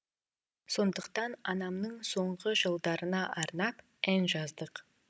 сондықтан анамның соңғы жылдарына арнап ән жаздық